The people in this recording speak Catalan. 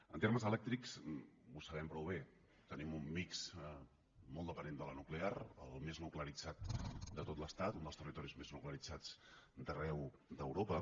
en termes elèctrics ho sabem prou bé tenim un mixdent de la nuclear el més nuclearitzat de tot l’estat un dels territoris més nuclearitzats d’arreu d’europa